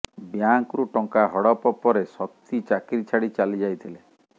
ବ୍ୟାଙ୍କରୁ ଟଙ୍କା ହଡପ ପରେ ଶକ୍ତି ଚାକିରୀ ଛାଡି ଚାଲିଯାଇ ଥିଲେ